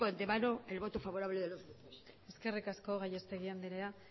de ante mano el voto favorable de los grupos eskerrik asko gallastegui anderea